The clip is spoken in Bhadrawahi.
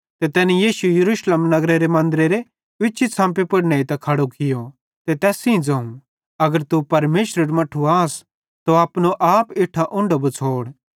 ते तैनी यीशु यरूशलेम नगरेरे मन्दरेरी उच्ची छ़म्पी पुड़ नेइतां खड़ो कियो ते तैस सेइं ज़ोवं अगर तू परमेशरेरू मट्ठू आस त अपनो आप इट्ठां उंढो बछ़ोड़